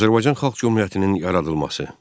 Azərbaycan Xalq Cümhuriyyətinin yaradılması.